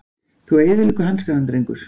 Þú eyðileggur hankana drengur!